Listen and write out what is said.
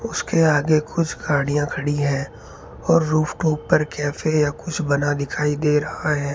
उसके आगे कुछ गाड़ियां खड़ी हैं और रूफ के ऊपर कैफे या कुछ बना दिखाई दे रहा है।